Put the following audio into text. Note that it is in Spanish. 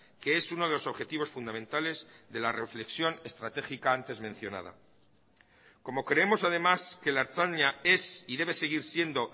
que es uno de los objetivos fundamentales de la reflexión estratégica antes mencionada como creemos además que la ertzaina es y debe seguir siendo